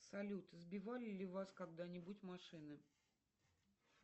салют сбивали ли вас когда нибудь машины